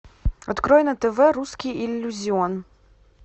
открой на тв русский иллюзион